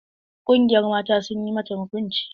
Ƙungiyar mata sun yi mata hukunci.